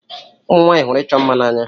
Ụmụ nwanyị hụrụ ịchọ mma n'anya.